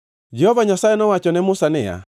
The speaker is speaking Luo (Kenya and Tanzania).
Jehova Nyasaye nowacho ne Musa niya,